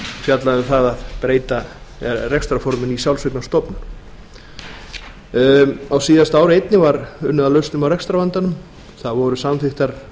fjallað um það að breyta rekstrarforminu í sjálfseignarstofnun á síðasta ári einnig var unnið að lausnum á rekstrarvandanum það voru samþykktar